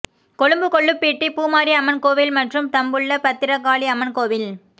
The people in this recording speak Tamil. கொழும்பு கொள்ளுப்பிட்டி பூமாரி அம்மன் கோவில் மற்றும் தம்புள்ள பத்திரகாளி அம்மன் கோவில்